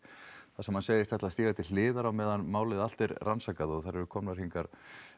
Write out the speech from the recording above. þar sem hann segist ætla að stíga til hliðar á meðan málið allt er rannsakað og þær eru komnar hingað